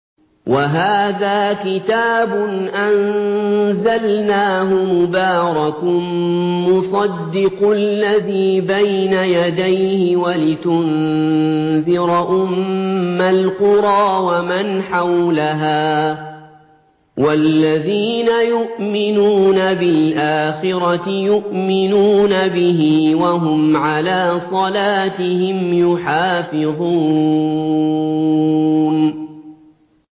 وَهَٰذَا كِتَابٌ أَنزَلْنَاهُ مُبَارَكٌ مُّصَدِّقُ الَّذِي بَيْنَ يَدَيْهِ وَلِتُنذِرَ أُمَّ الْقُرَىٰ وَمَنْ حَوْلَهَا ۚ وَالَّذِينَ يُؤْمِنُونَ بِالْآخِرَةِ يُؤْمِنُونَ بِهِ ۖ وَهُمْ عَلَىٰ صَلَاتِهِمْ يُحَافِظُونَ